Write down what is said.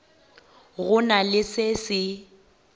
go na le se se